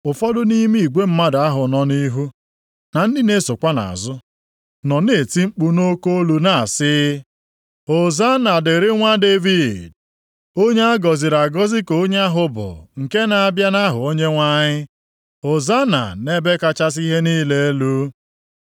Ụfọdụ nʼime igwe mmadụ ahụ nọ nʼihu, na ndị na-esokwa nʼazụ, nọ na-eti mkpu nʼoke olu na-asị: “Hozanna dịrị Nwa Devid!” “Onye a gọziri agọzi ka onye ahụ bụ, nke na-abịa nʼaha Onyenwe anyị!” + 21:9 \+xt Abụ 118:26\+xt* “Hozanna nʼebe kachasị ihe niile elu!”